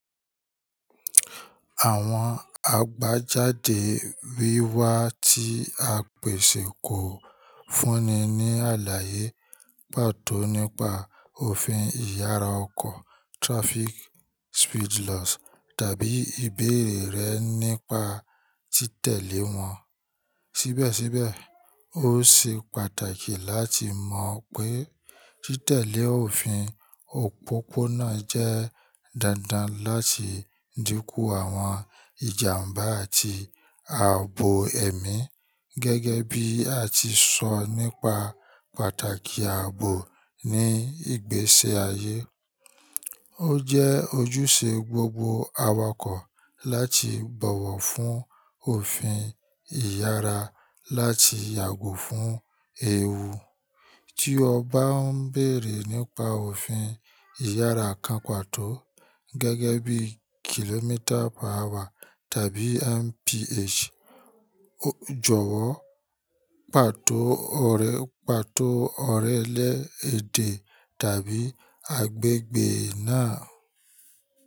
Àwọn àgbajáde wíwá tí a pèsè kò fúnni ní àlàyé pàtó nípa òfin ìyára ọkọ̀ traffic speed laws tàbí ìbéèrè rẹ nípa tí tẹ̀lé wọn. Síbẹ̀síbẹ̀, ó ṣe pàtàkì láti mọ̀ pé tí tẹ̀lé òfin òpópónà jẹ́ dandan láti dínkù àwọn ìjàmbá àti ààbò ẹ̀mí. Gẹ́gẹ́ bí a ti sọ nípa pàtàkì ààbò ní ìgbésí ayé. Ó jẹ́ ojúṣe gbogbo awakọ̀ láti bọ̀wọ̀ fún òfin ìyára láti yàgò fún èèwù. Tí o bá ń béèrè nípa òfin ìyára kan pàtó, gẹ́gẹ́ bí kìlómítà-per hour tàbí mph, jọ̀wọ́ pàtó ọ̀rẹ pàtó ọ̀rẹ́ lẹ èdè tàbí agbègbè náà.